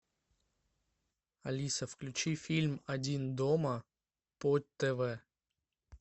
алиса включи фильм один дома по тв